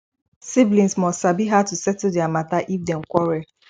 siblings must sabi how to settle their matter if dem quarell